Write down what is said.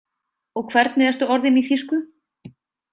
Og hvernig ertu orðinn í þýsku?